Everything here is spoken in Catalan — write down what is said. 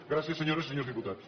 gràcies senyores i senyors diputats